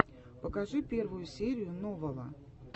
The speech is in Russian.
покажи первую серию новала